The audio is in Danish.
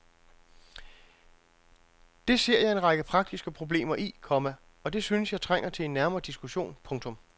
Det ser jeg en række praktiske problemer i, komma og det synes jeg trænger til en nærmere diskussion. punktum